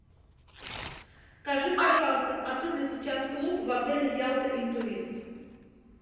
скажи пожалуйста открыт ли сейчас клуб в отеле ялта интурист